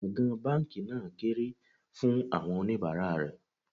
Gbọ̀ǹgbọ̀ǹ báńkì náà kéré fún àwọn oníbàárà rè.